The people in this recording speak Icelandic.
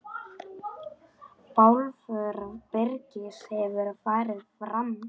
Bálför Birgis hefur farið fram.